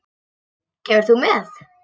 Kemur þú með?